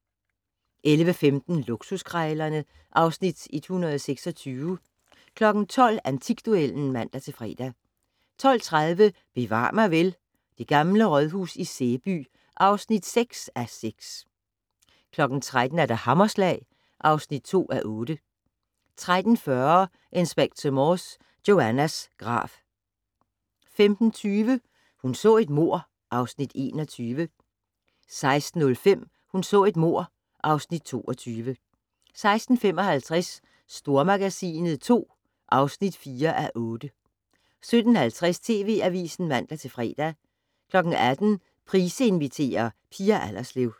11:15: Luksuskrejlerne (Afs. 126) 12:00: Antikduellen (man-fre) 12:30: Bevar mig vel: Det gamle rådhus i Sæby (6:6) 13:00: Hammerslag (2:8) 13:40: Inspector Morse: Joannas grav 15:20: Hun så et mord (Afs. 21) 16:05: Hun så et mord (Afs. 22) 16:55: Stormagasinet II (4:8) 17:50: TV Avisen (man-fre) 18:00: Price inviterer - Pia Allerslev